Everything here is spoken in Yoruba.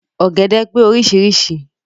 Ọ̀gẹ̀dẹ̀ pé orísirísi.